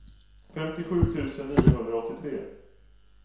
femtiosju tusen niohundraåttiotre